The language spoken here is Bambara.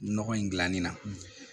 Nɔgɔ in dilanni na